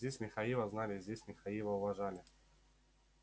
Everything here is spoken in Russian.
здесь михаила знали здесь михаила уважали